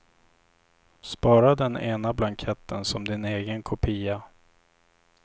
Spara den ena blanketten som din egen kopia.